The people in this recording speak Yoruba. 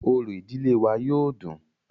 Orò ìdílé wa yóó dùn-ùn.